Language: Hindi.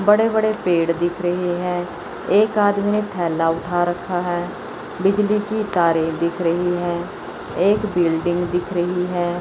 बड़े बड़े पेड़ दिख रहे है एक आदमी ने थैला उठा रखा है बिजली की तारें दिख रही है एक बिल्डिंग दिख रही है।